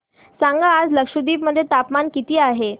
सांगा आज लक्षद्वीप मध्ये तापमान किती आहे